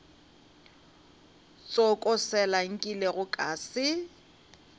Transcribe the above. tsoko sela nkilego ka se